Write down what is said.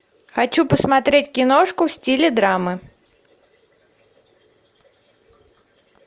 хочу посмотреть киношку в стиле драмы